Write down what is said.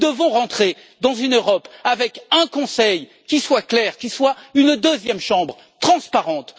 Nous devons rentrer dans une Europe avec un Conseil qui soit clair, qui soit une deuxième chambre transparente.